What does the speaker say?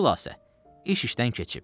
Xülasə, iş işdən keçib.